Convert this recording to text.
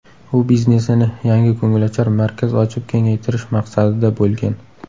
U biznesini yangi ko‘ngilochar markaz ochib kengaytirish maqsadida bo‘lgan.